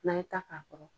N'an ye ta k'a kɔrɔ